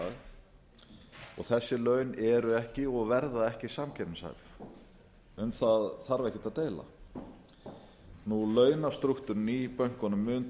dag og þessi laun eru ekki og verða ekki samkeppnishæf um það þarf ekkert að deila launastrúktúrinn í bönkunum mun